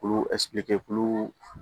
Olu